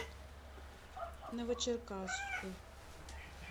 новочеркасску